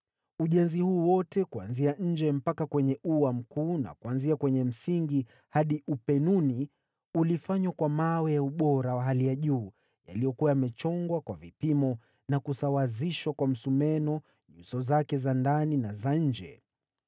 Ujenzi huu wote, kuanzia nje mpaka kwenye ua mkuu na kuanzia kwenye msingi hadi upenuni, ulifanywa kwa mawe ya ubora wa hali ya juu yaliyokuwa yamechongwa kwa vipimo na kusawazishwa kwa msumeno nyuso zake za ndani na za nje.